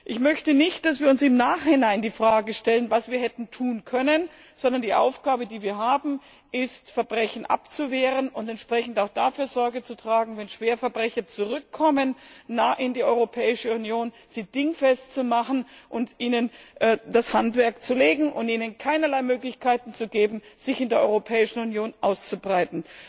Ich möchte nicht, dass wir uns im Nachhinein die Frage stellen, was wir hätten tun können, sondern die Aufgabe, die wir haben, ist, Verbrechen abzuwehren und entsprechend auch dafür Sorge zu tragen, Schwerverbrecher, wenn sie in die Europäische Union zurückkommen, dingfest zu machen, ihnen das Handwerk zu legen und ihnen keinerlei Möglichkeiten zu geben, sich in der Europäischen Union auszubreiten.